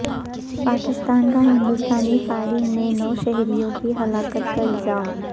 پاکستان کا ہندوستانی فائرنگ میں نو شہریوں کی ہلاکت کا الزام